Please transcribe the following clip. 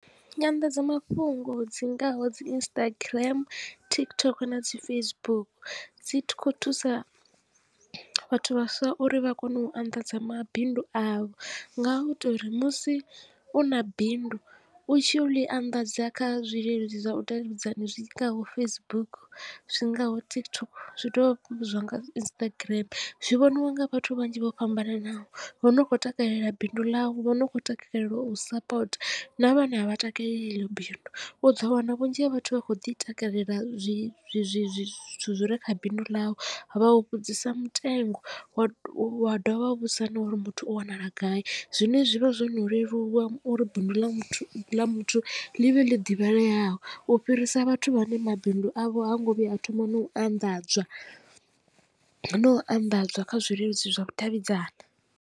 Nyanḓadzamafhungo dzi ngaho dzi Instagram, TikTok na dzi Facebook dzi kho thusa vhathu vhaswa uri vha kone u anḓadza mabindu avho nga u to uri musi u na bindu u tshi ḽi anḓadza kha zwileludzi zwa vhu davhidzani zwingaho Facebook zwingaho TikTok zwi dovha hafhu zwa nga Instagram zwi vhoniwa nga vhathu vhanzhi vho fhambananaho. Vho no khou takalela bindu ḽau vho no khou takala balelwa u sapota na vhane a vha takaleli heḽo bindu u ḓo wana vhunzhi ha vhathu vha kho ḓi takalela zwithu zwi zwithu zwi re kha bindu ḽau vha u vhudzisa mutengo wa wa dovha vha vhudzisa na uri muthu u wanala gai zwine zwivha zwo no leluwa uri bindu ḽa ḽa muthu ḽi vhe ḽi ḓivhaleaho u fhirisa vhathu vhane mabindu avho ha ngo vhuya a thoma no u anḓadzwa no u anḓadzwa kha zwileludzi zwa vhudavhidzani.